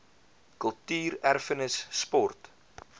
kultuur erfenis sport